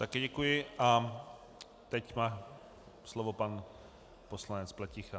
Také děkuji a teď má slovo pan poslanec Pleticha.